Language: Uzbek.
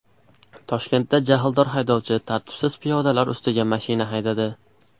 Toshkentda jahldor haydovchi tartibsiz piyodalar ustiga mashina haydadi .